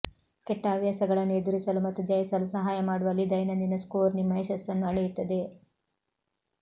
ಕೆಟ್ಟ ಹವ್ಯಾಸಗಳನ್ನು ಎದುರಿಸಲು ಮತ್ತು ಜಯಿಸಲು ಸಹಾಯ ಮಾಡುವಲ್ಲಿ ದೈನಂದಿನ ಸ್ಕೋರ್ ನಿಮ್ಮ ಯಶಸ್ಸನ್ನು ಅಳೆಯುತ್ತದೆ